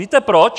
Víte proč?